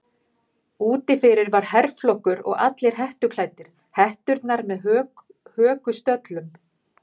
Úti fyrir var herflokkur og allir hettuklæddir, hetturnar með hökustöllum.